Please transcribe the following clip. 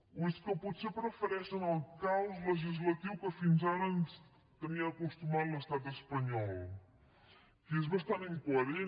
o és que potser prefereixen el caos legislatiu a què fins ara ens tenia acostumats l’estat espanyol que és bastant incoherent